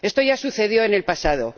Esto ya sucedió en el pasado.